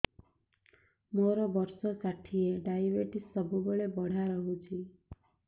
ମୋର ବର୍ଷ ଷାଠିଏ ଡାଏବେଟିସ ସବୁବେଳ ବଢ଼ା ରହୁଛି